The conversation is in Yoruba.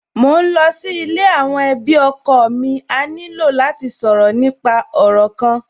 Mò ń lọ sí ilé àwọn ẹbí ọkọ mi, a ní lò láti sọ̀rọ̀ nípa òrò kan